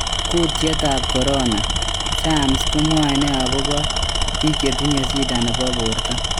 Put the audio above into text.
Kyutiet ap corona,"science komwaene agopa pik chetinye shida nepo porto?